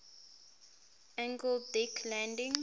angled deck landing